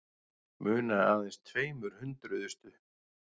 Munaði aðeins tveimur hundruðustu